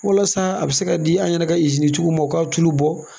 Walasa a bɛ se ka di an yɛrɛ ka ma u k'a tulu bɔ.